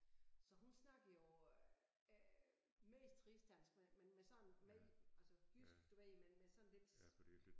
Så hun snakker jo øh mest rigsdansk men med sådan med altså jysk du ved men med sådan lidt